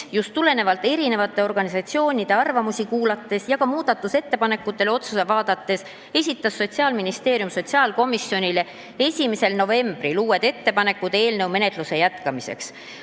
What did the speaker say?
Tulenevalt just mitmete organisatsioonide arvamustest ja olles vaadanud ka muudatusettepanekuid, esitas Sotsiaalministeerium sotsiaalkomisjonile 1. novembril uued ettepanekud eelnõu menetluse jätkamiseks.